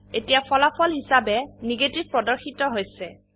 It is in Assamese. এতিয়া ফলাফল হিসাবে নেগেটিভ প্রদর্শিত হৈছে